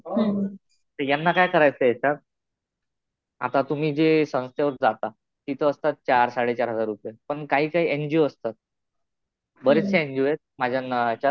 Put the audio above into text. तर यांना काय करायचं याच्यात, आता तुम्ही जे संस्थेवर जाता. तिथं असतात चार-साढे चार हजार रुपये. पण काही काही एन जी ओ असतात. बऱ्याचशा एन जी ओ आहेत माझ्या ह्याच्यात.